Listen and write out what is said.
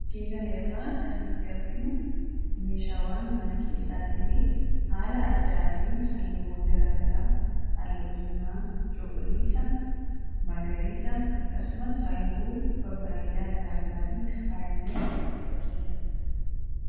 Fakkii kana Irraa kan nuti arginu meeshaawwan mana keessaa ta'ee, haala addaatiin halluu diimaa, cuquliisa, akkasumas halluu babbareedaa faayamee hojjetamedha.